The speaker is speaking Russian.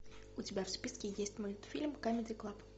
у тебя в списке есть мультфильм камеди клаб